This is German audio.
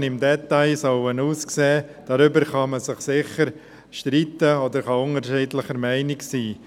Man kann sich sicher darüber streiten, wie die Sanierungsmassnahmen im Detail aussehen sollen.